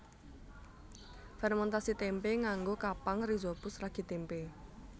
Fèrmèntasi témpé nganggo kapang rhizopus ragi témpé